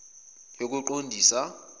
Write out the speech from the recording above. yokuqondisa